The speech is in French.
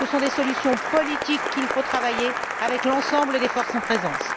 Ce sont des solutions politiques qu'il faut travailler avec l'ensemble des forces en présence.